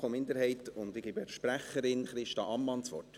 Ich gebe deren Sprecherin, Christa Ammann, das Wort.